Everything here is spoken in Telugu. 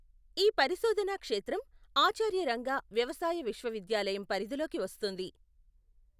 ఈ పరిశోధనా క్షేత్రం ఆచార్య రంగా వ్యవసాయ విశ్వవిద్యాలయం పరిధిలోకి వస్తుంది.